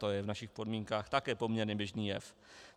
To je v našich podmínkách také poměrně běžný jev.